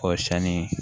Kɔrɔsiyɛnni